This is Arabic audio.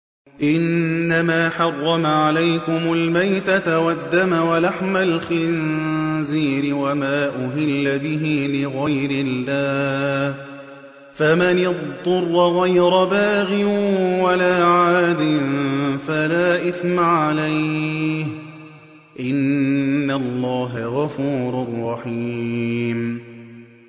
إِنَّمَا حَرَّمَ عَلَيْكُمُ الْمَيْتَةَ وَالدَّمَ وَلَحْمَ الْخِنزِيرِ وَمَا أُهِلَّ بِهِ لِغَيْرِ اللَّهِ ۖ فَمَنِ اضْطُرَّ غَيْرَ بَاغٍ وَلَا عَادٍ فَلَا إِثْمَ عَلَيْهِ ۚ إِنَّ اللَّهَ غَفُورٌ رَّحِيمٌ